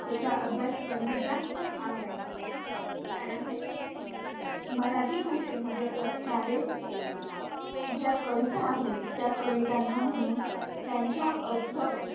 विषयाचा अभ्यास करण्यात जास्त आवडायचं. कारण मराठी भाषेमध्ये असणारे ज्या कविता आहेत, त्या कवितांना म्हणून त्यांच्या अर्थ